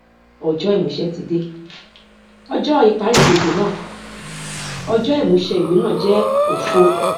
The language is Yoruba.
ọjọ ìmúṣẹ tí de ọjọ ìparí gbèsè náà ọjọ ìmúṣẹ ìwé náà jẹ òfo